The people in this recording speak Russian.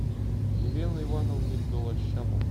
елены ивановны голощаповой